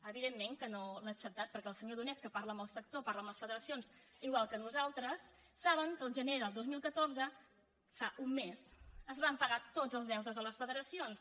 evidentment que no l’ha acceptat perquè el senyor donés que par·la amb el sector parla amb les federacions igual que nosaltres sap que el gener del dos mil catorze fa un mes es van pagar tots els deutes a les federacions